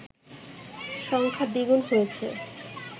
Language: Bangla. সংখ্যা দ্বিগুণ হয়েছে